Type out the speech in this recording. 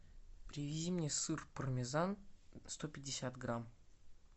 привези мне сыр пармезан сто пятьдесят грамм